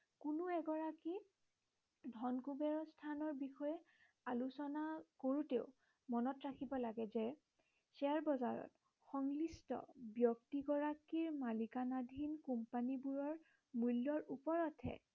ধনকুবেৰৰ স্থানৰ বিষয়ে আলোচনা কৰোতেওঁ মনত ৰাখিব লাগে যে শ্বেয়াৰ বজাৰত সংলিষ্ট ব্য়ক্তিগৰাকীৰ মালিকাধীন কোম্পানীবোৰৰ মূল্য়ৰ ওপৰতহে